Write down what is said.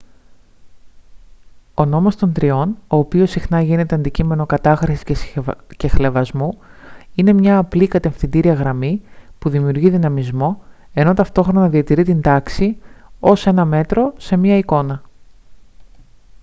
ο νόμος των τριών ο οποίος συχνά γίνεται αντικείμενο κατάχρησης και χλευασμού είναι μια απλή κατευθυντήρια γραμμή που δημιουργεί δυναμισμό ενώ ταυτόχρονα διατηρεί την τάξη έως ένα μέτρο σε μια εικόνα